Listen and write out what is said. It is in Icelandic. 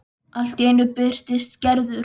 Allt í einu birtist Gerður.